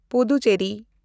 Puducherry